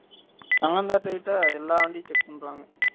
தங்கம் theatre கிட்ட எல்லா வண்டியும் check பண்றாங்க